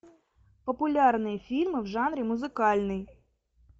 популярные фильмы в жанре музыкальный